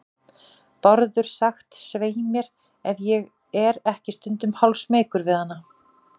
Bárður sagt, svei mér, ef ég er ekki stundum hálfsmeykur við hana.